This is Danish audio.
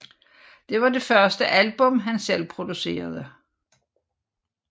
Det var det første album han selv producerede